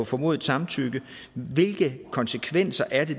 formodet samtykke hvilke konsekvenser er det